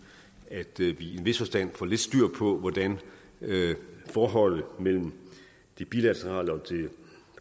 at vi i en vis forstand får lidt styr på hvordan forholdet mellem det bilaterale og det